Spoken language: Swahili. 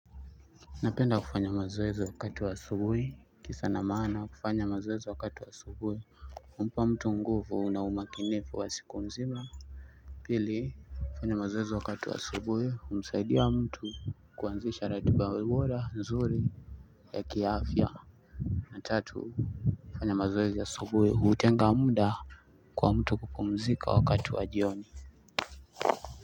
Napenda kufanya mazoezi wakati wa asubuhi kisa na maana kufanya mazoezi wakatu wa asubuhi humpa mtu nguvu na umakinifu wa siku mzima. Pili kufanya mazoezi wakati wa asubuhi humsaidia mtu kuanzisha ratiba bora nzuri. Ya kiaafya na tatu kufanya mazoezi asubuhi hutenga muda kwa mtu kupumzika wakati wa jioni.